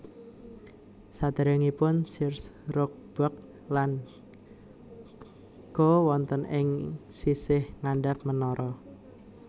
Saderengipun Sears Roebuck lan Co wonten ing sisih ngandhap menara